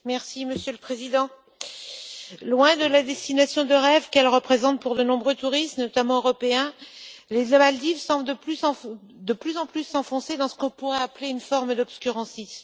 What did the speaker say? Monsieur le Président, loin de la destination de rêve qu'elle représente pour de nombreux touristes, notamment européens, les Maldives semblent de plus en plus s'enfoncer dans ce que l'on pourrait appeler une forme d'obscurantisme.